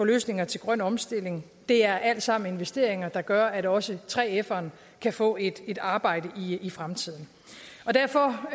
løsninger til grøn omstilling det er alt sammen investeringer der gør at også 3feren kan få et et arbejde i fremtiden derfor